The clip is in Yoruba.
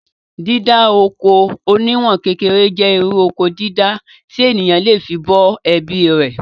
Dídá oko oníwọ̀n kékeré jẹ́ irú Oko dídá tí èèyàn le fí bọ́ ẹbí rè